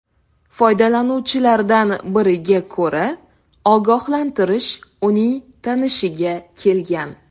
Foydalanuvchilardan biriga ko‘ra, ogohlantirish uning tanishiga kelgan.